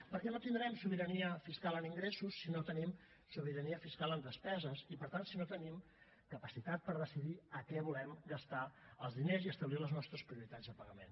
perquè no tindrem sobirania fiscal en ingressos si no tenim sobirania fiscal en despeses i per tant si no tenim capacitat per decidir en què volem gastar els diners i establir les nostres prioritats de pagament